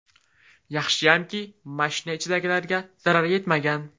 Yaxshiyamki, mashina ichidagilarga zarar yetmagan.